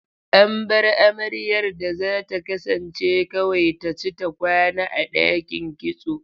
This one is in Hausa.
An bar amaryar da za ta kasance kawai ta ci ta kwana a ɗakin kitso.